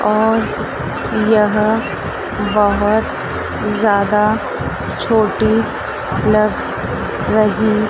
और यह बहुत ज्यादा छोटी लग रही--